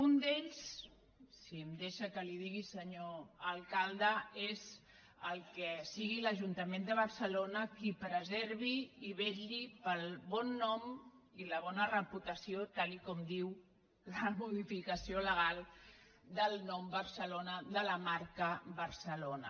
un d’ells si em deixa que li ho digui senyor alcalde és que sigui l’ajuntament de barcelona qui preservi i vetlli pel bon nom i la bona reputació tal com diu la modificació legal del nom barcelona de la marca barcelona